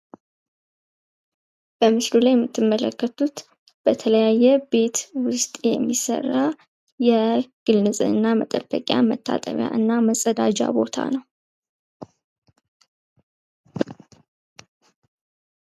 በምስሉ ላይ የምትመለከቱት በተለያየ ቤት ውስጥ የሚሰራ የግል ንፅህና መጠበቂያ መታጠቢያና መፀዳጃ ቦታ ነው።